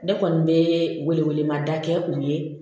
Ne kɔni bɛ wele wele mada kɛ u ye